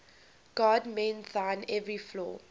god mend thine every flaw